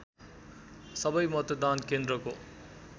सबै मतदान केन्द्रको